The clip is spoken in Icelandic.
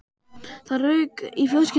Það rauk úr fiskinum í fatinu.